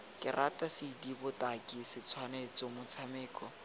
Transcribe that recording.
karata cd botaki setshwantsho motshameko